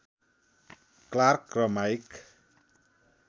Clark र mic